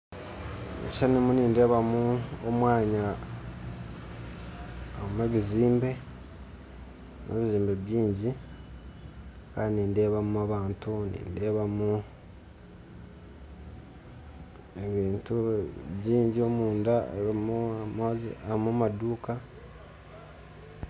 Omukishishani nindeebamu omwanya harumu ebizimbe byingyi kandi nindeebamu abantu nindeebamu ebintu byingyi omunda harimu amaduuka